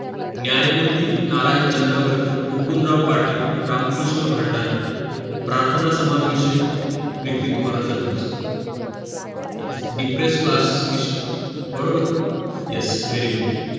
न्यायमूर्ती नारायण चंदावरकर मुकुंदराव पाटील रामकृष्ण भांडारकर प्रार्थनासमाजविषयी एक व्यक्ती तुम्हाला सांगायचं Depressed Class Mission बरोबर yes very good